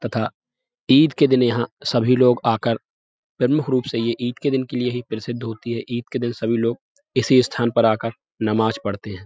तथा ईद के दिन यहां सभी लोग आ कर प्रमुख रूप से ये ईद के दिन के लिए ही प्रसिद्ध होती है। ईद के दिन सभी लोग इसी स्थान पर आकर नमाज़ पढ़ते हैं।